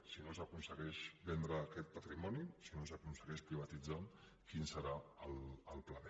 si no s’aconsegueix vendre aquest patrimoni si no s’aconsegueix privatitzar quin serà el pla b